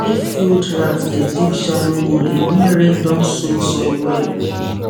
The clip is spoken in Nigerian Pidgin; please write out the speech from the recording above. if field rat dey dig shallow hole e mean rain don soak soil well